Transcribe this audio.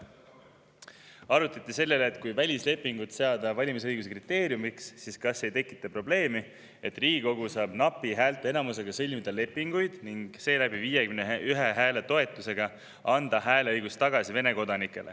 Arutati, et kui seada välislepingud valimisõiguse kriteeriumiks, kas siis ei teki probleemi, et Riigikogu saab ka napi häälteenamusega sõlmida lepinguid ning seeläbi anda näiteks 51 toetushäälega Vene kodanikele hääleõiguse tagasi.